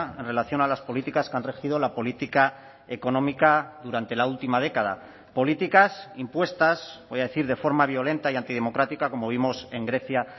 en relación a las políticas que han regido la política económica durante la última década políticas impuestas voy a decir de forma violenta y antidemocrática como vimos en grecia